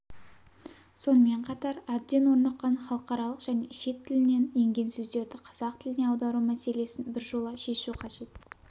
сонымен қатар әбден орныққан халықаралық және шет тілінен енген сөздерді қазақ тіліне аудару мәселесін біржола шешу қажет